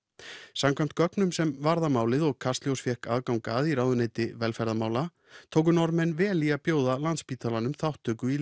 samkvæmt gögnum sem varða málið og Kastljós fékk aðgang að í ráðuneyti velferðarmála tóku Norðmenn vel í það að bjóða Landspítalanum þátttöku í